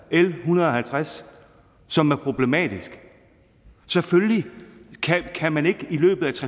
l en hundrede og halvtreds som er problematisk selvfølgelig kan man ikke i løbet